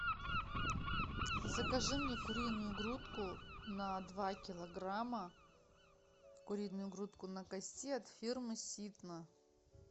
закажи мне куриную грудку на два килограмма куриную грудку на кости от фирмы ситна